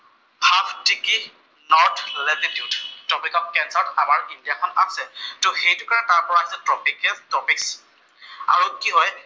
Half ticket north latitude, topic of কেঞ্চাৰত আমাৰ India খন আছে। ত সেইটো কাৰণে তাৰ পৰা আমি ট্ৰপিকেত টপিক, আৰু কি হয়